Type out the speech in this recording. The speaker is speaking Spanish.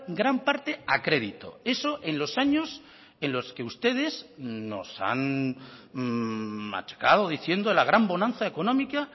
gran parte a crédito eso en los años en los que ustedes nos han machacado diciendo la gran bonanza económica